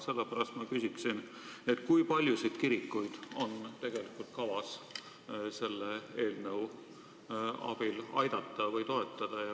Sellepärast ma küsin, kui paljusid kirikuid on tegelikult kavas selle eelnõu abil aidata või toetada.